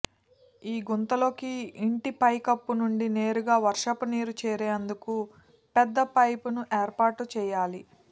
ఈ గుంతలోకి ఇంటి పైకప్పు నుంచి నేరుగా వర్షపునీరు చేరేందుకు పెద్ద పైపును ఏర్పాటు చేయాలి